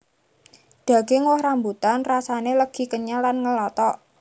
Daging woh rambutan rasané legi kenyal lan ngelotok